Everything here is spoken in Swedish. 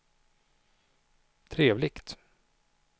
trevligt